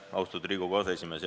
Austatud Riigikogu aseesimees!